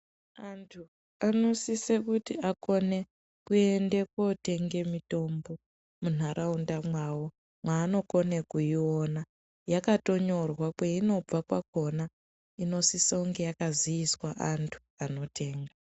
Antu anosise kuti akone kuende kotenge mitombo munharaunda mwawo mwaanokone kuiona yakatonyorwa kweinobva kwakona inosisa kunge yakaziiswa antu anotenga.